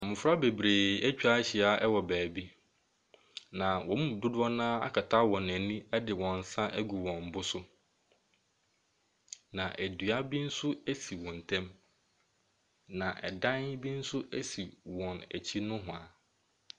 Mmɔfra bebree atwa ahyia wɔ baabi, na wɔn mu dodoɔ no ara akata wɔn ani de wɔn nsa agu wɔn bo so. Na dua bi nso si wɔn ntam, na ɛdan bi nso si wɔn akyi nohoa.